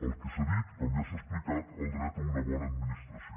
el que s’ha dit com ja s’ha explicat el dret a una bona administració